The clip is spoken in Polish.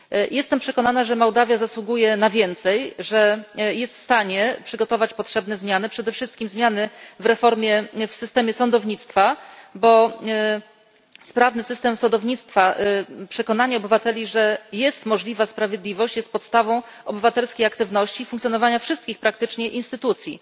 Jestem przekonana, że Mołdawia zasługuje na więcej, że jest w stanie przygotować potrzebne zmiany, przede wszystkim zmiany w systemie sądownictwa, bo sprawny system sądownictwa, przekonanie obywateli, że jest możliwa sprawiedliwość, jest podstawą obywatelskiej aktywności i funkcjonowania wszystkich praktycznie instytucji.